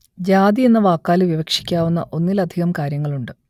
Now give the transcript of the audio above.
ജാതി എന്ന വാക്കാൽ വിവക്ഷിക്കാവുന്ന ഒന്നിലധികം കാര്യങ്ങളുണ്ട്